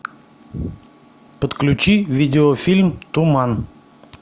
подключи видеофильм туман